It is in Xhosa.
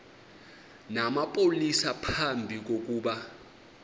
namapolisa phambi kokuba